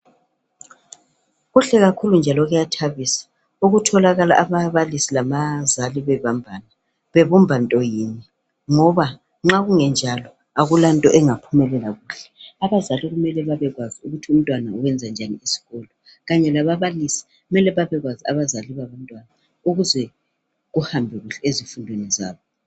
Kuhle kakhulu njalo kuyathabisa ukutholakala ababalisi labazali bebambana bebumba into yinye. Ngoba nxa kungenjalo akulanto engaphumelela kuhle. Abazali kumele babekwazi ukuthi umntwana wenza njani eskolo kanye lababalisi kumele babekwazi abazali babantwana ukuze kuhambe kuhle ezifundweni zabo.